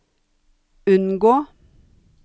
unngå